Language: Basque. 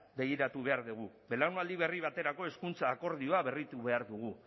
begiratu behar dugu belaunaldi berri baterako hezkuntza akordioa berritu behar dugu